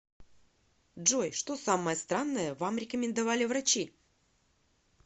джой что самое странное вам рекомендовали врачи